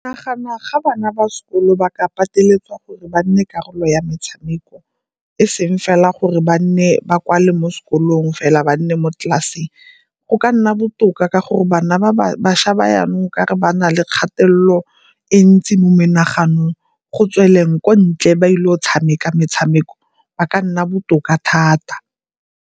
Nagana ga bana ba sekolo ba ka pateletsega gore ba nne karolo ya metshameko e seng fela gore ba nne, ba kwalee mo sekolong fela ba nne mo tlelaseng. Go ka nna botoka ka gore bana ba ba, bašwa ba yanong e ka re ba na le kgatelelo e ntsi mo menaganong, go tsweleng ko ntle ba ile go tshameka metshameko ba ka nna botoka thata.